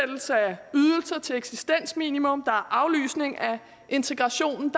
ydelser til eksistensminimum og aflysninger af integration